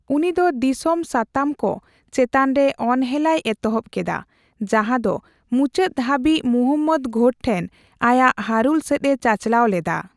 ᱩᱱᱤ ᱫᱚ ᱫᱤᱥᱚᱢ ᱥᱟᱛᱟᱢ ᱠᱚ ᱪᱮᱛᱟᱱ ᱨᱮ ᱚᱱᱦᱮᱞᱟᱭ ᱮᱛᱚᱦᱵ ᱠᱮᱫᱟ ᱡᱟᱦᱟ ᱫᱚ ᱢᱩᱪᱟᱹᱫ ᱦᱟᱵᱤᱡ ᱢᱩᱦᱚᱢᱢᱚᱫ ᱜᱷᱳᱨ ᱴᱷᱮᱱ ᱟᱭᱟᱜ ᱦᱟᱨᱩᱞ ᱥᱮᱫ ᱮ ᱪᱟᱪᱞᱟᱣ ᱞᱮᱫᱟ ᱾